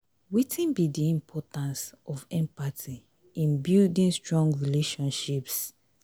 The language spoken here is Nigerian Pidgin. wetin be di importance of empathy in building strong relationships?